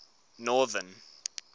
northern